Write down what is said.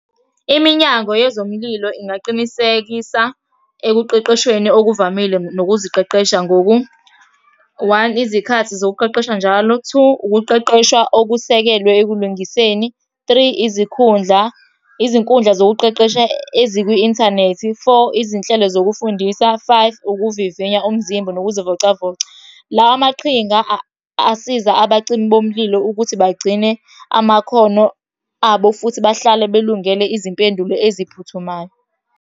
Iminyango yezomlilo ingaqinisekisa ekuqeqeshweni okuvamile nokuziqeqesha ngoku, one, izikhathi zokuqeqesha njalo. Two, ukuqeqeshwa okusekelwe ekulungiseni. Three, izikhundla, izinkundla zokuqeqesha ezikwi-inthanethi. Four, izinhlelo zokufundisa. Five, ukuvivinya umzimba nokuzivocavoca. Lawa maqhinga asiza abacimi bomlilo ukuthi bagcine amakhono abo, futhi bahlale belungele izimpendulo eziphuthumayo.